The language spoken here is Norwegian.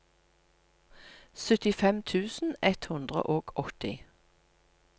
syttifem tusen ett hundre og åtti